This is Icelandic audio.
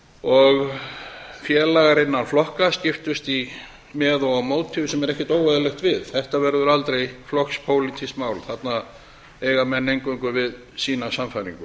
og félagar innan flokka skiptust með og á móti sem er ekkert óeðlilegt við þetta verður aldrei flokkspólitískt mál þarna eiga menn eingöngu við sína sannfæringu